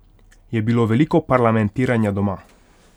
Je bilo veliko parlamentiranja doma?